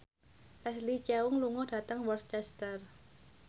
Leslie Cheung lunga dhateng Worcester